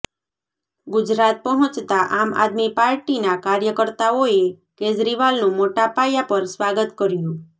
ગુજરાત પહોંચતા આમ આદમી પાર્ટીના કાર્યકર્તાઓએ કેજરીવાલનું મોટા પાયા પર સ્વાગત કર્યુ